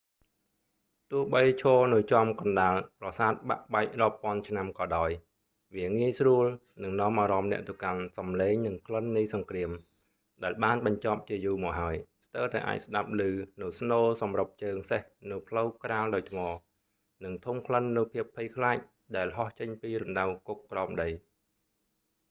ទោះបីឈរនៅចំកណ្ដាលប្រសាទបាក់បែករាប់ពាន់ឆ្នាំក៏ដោយ វាងាយស្រួលនឹងនាំអារម្មណ៍អ្នកទៅកាន់សំឡេងនិងក្លិននៃសង្គ្រាមដែលបានបញ្ចប់ជាយូរមកហើយ ស្ទើរតែអាចស្ដាប់ឮនូវស្នូរសម្រឹបជើងសេះនៅផ្លូវក្រាលដោយថ្ម និងធំក្លិននូវភាពភ័យខ្លាចដែលហោះចេញពីរណ្ដៅគុកក្រោមដី